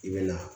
I bɛ na